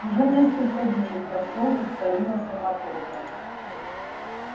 уже несколько дней в посёлке царила суматоха